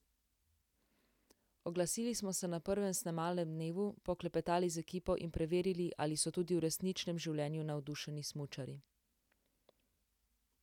Oglasili smo se na prvem snemalnem dnevu, poklepetali z ekipo in preverili, ali so tudi v resničnem življenju navdušeni smučarji.